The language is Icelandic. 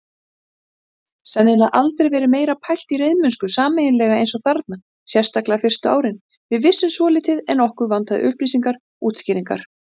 Ertu ekki á pillunni?